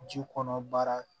Ji kɔnɔ baara